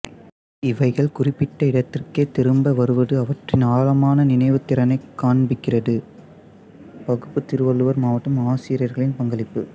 இவைகள் குறிப்பிட்ட இடத்திற்கே திரும்ப வருவது அவற்றின் ஆழமான நினவுத் திறனை காண்பிக்கிறதுபகுப்பு திருவள்ளுர் மாவட்ட ஆசிரியர்களின் பங்களிப்பு